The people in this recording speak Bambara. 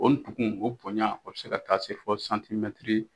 O tugun o bonya o bɛ se ka taa se fɔ .